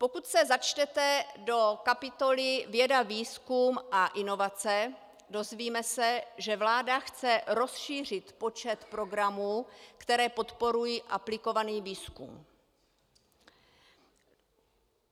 Pokud se začtete do kapitoly věda, výzkum a inovace, dozvíme se, že vláda chce rozšířit počet programů, které podporují aplikovaný výzkum.